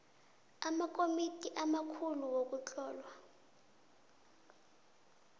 amakomiti amakhulu wokuhlolwa